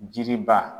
Jiri ba